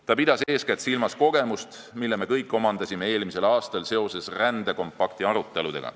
Ta pidas eeskätt silmas kogemust, mille me kõik omandasime eelmisel aastal rändeleppe aruteludel.